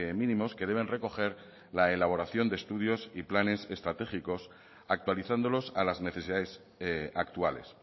mínimos que deben recoger la elaboración de estudios y planes estratégicos actualizándolos a las necesidades actuales